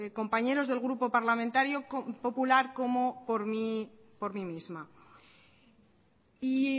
compañeros del grupo parlamentario popular como por mí misma y